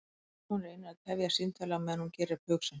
Hún reynir að tefja símtalið á meðan hún gerir upp hug sinn.